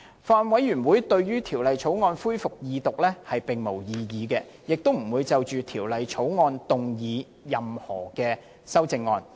法案委員會對於《條例草案》恢復二讀辯論並無異議，亦不會就《條例草案》動議任何修正案。